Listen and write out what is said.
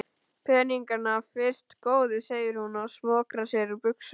Peningana fyrst góði, segir hún og smokrar sér úr buxunum.